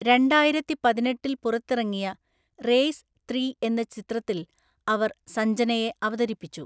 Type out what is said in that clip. രണ്ടായിരത്തിപതിനെട്ടില്‍ പുറത്തിറങ്ങിയ race three എന്ന ചിത്രത്തിൽ അവർ സഞ്ജനയെ അവതരിപ്പിച്ചു.